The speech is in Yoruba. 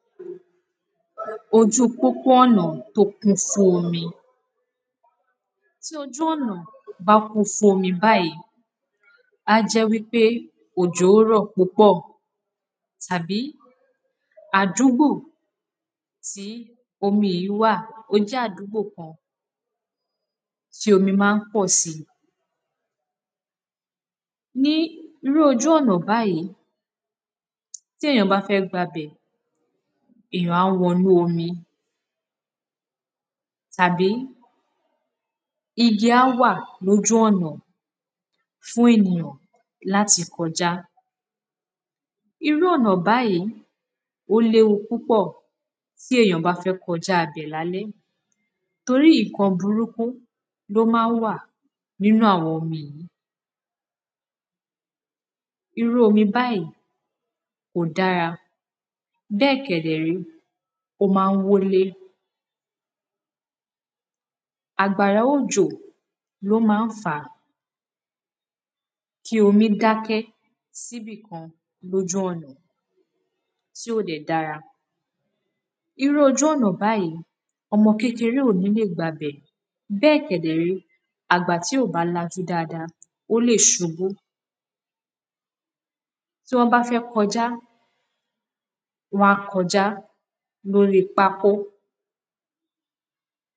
Ojú pópó ọ̀nà tó kún fún omi. Tí ojú ọ̀nà bá kún fún omi báyìí á jẹ́ wípé òjò rọ̀ púpọ̀ tàbí adúgbò tí omi yìí wà ó jẹ́ àdúgbò kan tí omi má ń kpọ̀ sí. Ní irú ojú ọ̀nà báyìí, tí èyàn bá fẹ́ gba bẹ̀ èyàn á wọ inú omi tàbí igi á wà lójú ọ̀nà fún ènìyàn láti kọjá. Irú ọ̀nà báyìí ó léwu púpọ̀ tí èyàn bá fẹ́ kọjá ibẹ̀ lálẹ́ torí nǹkan burúkú ló má ń wà nínú àwọn omi yìí irú omi báyíì kò dára bẹ́ẹ̀ kẹ̀dẹ̀ rẹ́ ó má ń wólé. Àgbàrá ojo ló má ń fàá kí omi dákẹ́ síbìkan lójú ọ̀nà tí ò dẹ̀ dára. Irú ojú ọ̀nà báyìí ọmọ kékeré ò ní lè gba bẹ̀ bẹ́ẹ̀ kẹ̀dẹ̀ ré àgbà tí ò bá lajú dáada ó lè ṣubú tí wọ́n bá fẹ́ kọjá wọ́n á kojá lórí pákó.